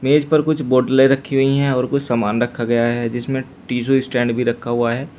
इस पर कुछ बोतलें रखी हुई है और कुछ सामान रखा गया है जिसमें टिशु स्टैंड भी रखा हुआ है।